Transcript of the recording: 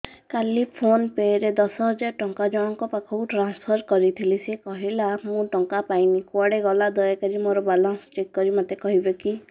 କାଲି PhonePe ରେ ଦଶ ହଜାର ଟଙ୍କା ଜଣକ ପାଖକୁ ଟ୍ରାନ୍ସଫର୍ କରିଥିଲି ସେ କହିଲା ମୁଁ ଟଙ୍କା ପାଇନି କୁଆଡେ ଗଲା ଦୟାକରି ମୋର ବାଲାନ୍ସ ଚେକ୍ କରି ମୋତେ କହିବେ କି